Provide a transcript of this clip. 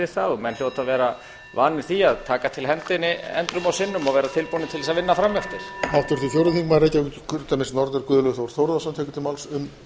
við það og menn hljóta að vera vanir því að taka til hendinni endrum og sinnum og vera tilbúnir til að vinna fram eftir